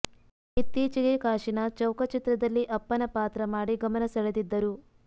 ಇತ್ತೀಚೆಗೆ ಕಾಶೀನಾಥ್ ಚೌಕ ಚಿತ್ರದಲ್ಲಿ ಅಪ್ಪನ ಪಾತ್ರ ಮಾಡಿ ಗಮನ ಸೆಳೆದಿದ್ದರು